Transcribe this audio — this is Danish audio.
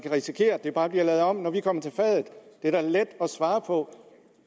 risikerer det bare bliver lavet om når vi kommer til fadet det er da let at svare på